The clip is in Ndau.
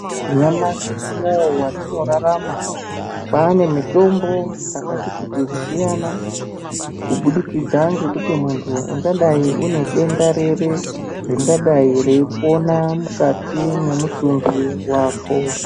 Nyamashi unouyu watinorarama, kwaane mitombo dzakatikuti kusiyana kubudikidza ngekuti muntu ungadai une denda ripi ringadai reipona mukati memutumbi wako.